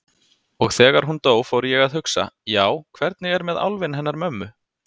Og þegar hún dó fór ég að hugsa: Já, hvernig er með álfinn hennar mömmu?